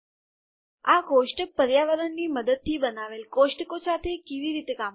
આપણે આ કોષ્ટક પર્યાવરણની મદદથી બનાવેલ કોષ્ટકો સાથે કેવી રીતે કામ કરશું